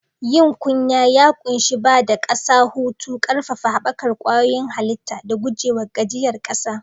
Yin kunya ya ƙunshi ba da ƙasa hutu, ƙarfafa haɓakar kwayoyin halitta, da guje wa gajiyar ƙasa.